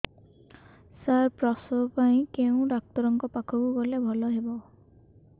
ସାର ପ୍ରସବ ପାଇଁ କେଉଁ ଡକ୍ଟର ଙ୍କ ପାଖକୁ ଗଲେ ଭଲ ହେବ